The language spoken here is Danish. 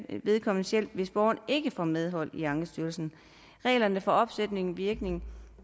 vedkommendes hjælp hvis borgeren ikke får medhold i ankestyrelsen reglerne for opsættende virkning